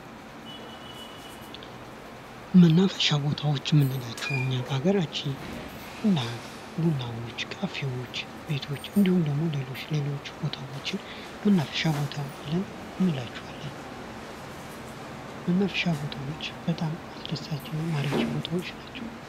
መናፈሻ ቦታዎች የምንላቸው እኛ በሃገራችን እና ቡናዎች ካፈዎች ቤቶች እንዲሁም ደግሞ ሌሎች ሌሎች ቦታዎችን መናፈሻ ቦታ ብለን እንላቸዋለን መናፈሻ ቦታዎች በጣም አስደሳችና ማራኪ ቦታዎች ናቸው::